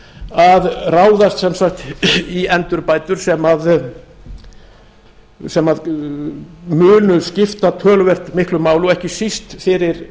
að ráðast sem sagt í endurbætur sem munu skipta töluvert miklu máli og ekki síst fyrir